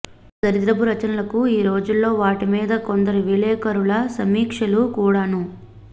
అంత దరిద్రపు రచనలకు ఈ రోజుల్లో వాటిమీద కొందరి విలేఖరుల సమీక్షలు కూడాను